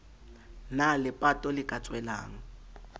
na lepato le ka tswelang